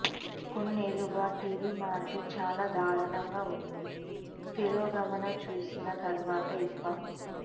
కొన్నేళ్లుగా TV market చాలా దారుణంగా ఉండి తిరోగమనం చూసిన తరువాత ఇప్ప